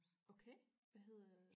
okay hvad hedder